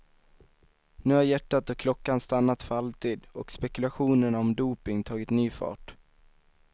Nu har hjärtat och klockan stannat för alltid och spekulationerna om doping tagit ny fart.